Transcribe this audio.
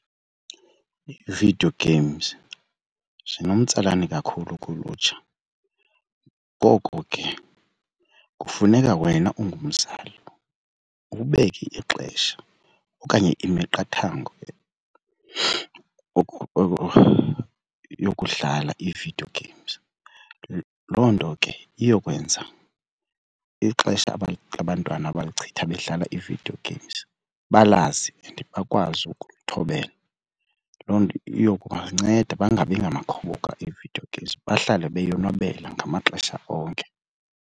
Ii-video games zinomtsalane kakhulu kulutsha ngoko ke kufuneka wena ungumzali ubeke ixesha okanye imiqathango yokudlala ii-video games loo nto ke iyokwenza ixesha abantwana abalichitha bedlala ii-video games balazi and bakwazi ukulithobela. Loo nto iyokubanceda bangabi ngamakhoboka e-video games bahlale beyonwabela ngamaxesha onke.